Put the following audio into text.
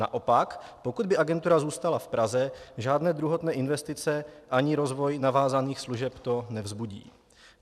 Naopak, pokud by agentura zůstala v Praze, žádné druhotné investice ani rozvoj navázaných služeb to nevzbudí.